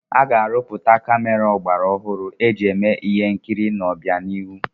A ga-arụpụta kamera ọgbaraọhụrụ eji eme ihe nkiri n'ọbianihu.